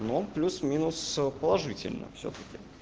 ну он плюс-минус положительно всё-таки